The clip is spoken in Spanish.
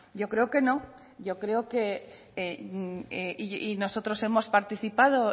yo creo que no y yo creo que nosotros hemos participado